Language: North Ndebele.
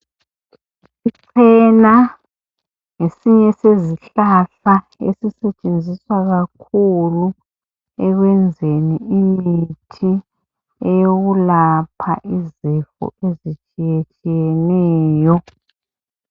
Ichena ngesinye sezihlahla esisetshenziswa kakhulu ekwenzeni imithi eyokulapha izifo ezitshiyetshiyeneyo.